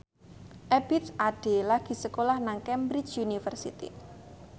Ebith Ade lagi sekolah nang Cambridge University